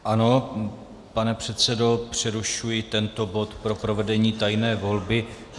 Ano, pane předsedo, přerušuji tento bod pro provedení tajné volby.